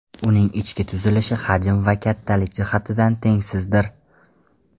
Uning ichki tuzilishi hajm va kattalik jihatidan tengsizdir.